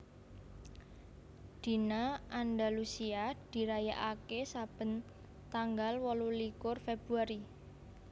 Dina Andalusia dirayakaké saben tanggal wolulikur Februari